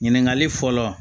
Ɲininkali fɔlɔ